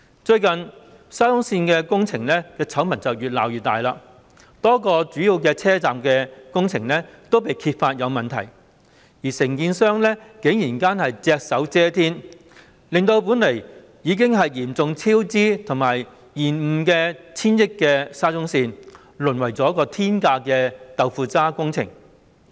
最近，沙中線工程的醜聞越鬧越大，多個主要車站的工程均被揭發有問題，而承建商竟然隻手遮天，令本來已經嚴重超支和延誤的 1,000 億元沙中線淪為天價的"豆腐渣"工程。